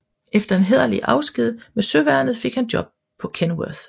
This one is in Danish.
Efter en hæderlig afsked med søværnet fik han et job på Kenworth